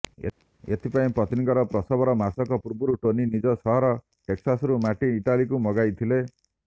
ଏଥିପାଇଁ ପତ୍ନୀଙ୍କର ପ୍ରସବର ମାସକ ପୂର୍ବରୁ ଟୋନି ନିଜ ସହର ଟେକସାସରୁ ମାଟି ଇଟାଲିକୁ ମଗାଇଥିଲେ